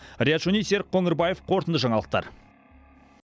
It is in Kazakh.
риат шони серік қоңырбаев қорытынды жаңалықтар